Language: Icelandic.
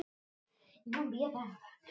Lóa: Varstu hrædd?